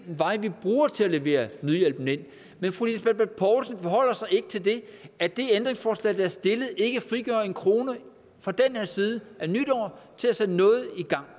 den vej vi bruger til at levere nødhjælpen ind men fru lisbeth bech poulsen forholder sig ikke til at det ændringsforslag der er stillet ikke frigør en krone på den her side af nytår til at sætte noget